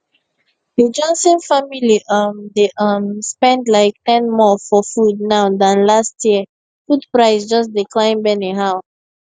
the johnson family um dey um spend like ten more for food now than last year food price just dey climb anyhow